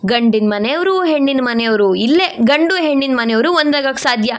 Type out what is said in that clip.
ಗಂಡಿನ್ಮನೆಯವರು ಹೆಣ್ಣಿನ್ಮನೆಯವರು ಇಲ್ಲೇ ಗಂಡು ಹೆಣ್ಣಿನ ಮನೆಯವರು ಒಂದಾಗೋಕ್ ಸಾಧ್ಯ.